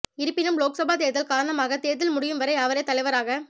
இருப்பினும் லோக்சபா தேர்தல் காரணமாக தேர்தல் முடியும் வரை அவரே தலைவராக